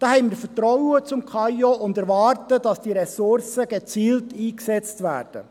Diesbezüglich haben wir Vertrauen in das KAIO und erwarten, dass die Ressourcen gezielt eingesetzt werden.